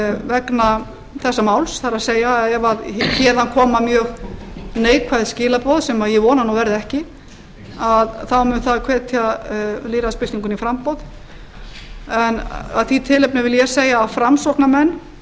vegna þessa máls það er ef héðan koma mjög neikvæð skilaboð sem ég vona að verði ekki þá mun það hvetja lýðræðisbyltinguna í framboð en af því tilefni vil ég segja að framsóknarmenn